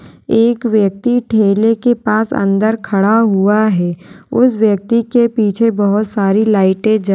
एक व्यक्ति ठेले के पास अंदर खड़ा हुआ है। उस व्यक्ति के पीछे बोहोत सारी लाइटे जल --